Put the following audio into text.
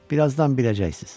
Bir azdan biləcəksiz.